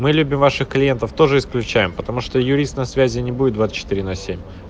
мы любим ваших клиентов тоже исключаем потому что юрист на связи не будет двадцать четыре на семь